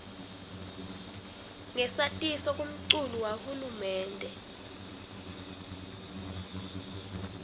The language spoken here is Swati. ngesatiso kumculu wahulumende